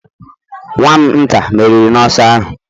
Nwa'm nta meriri n'ọsọ ahụ